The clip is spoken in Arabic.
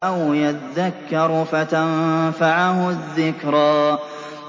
أَوْ يَذَّكَّرُ فَتَنفَعَهُ الذِّكْرَىٰ